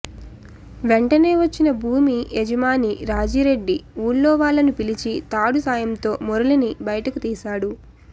వెంటనే వచ్చిన భూమి యజమాని రాజిరెడ్డి ఊళ్లో వాళ్లను పిలిచి తాడు సాయంతో మురళిని బయటకు తీశాడు